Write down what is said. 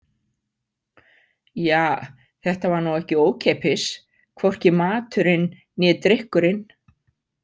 Ja, þetta var nú ekki ókeypis, hvorki maturinn né drykkurinn.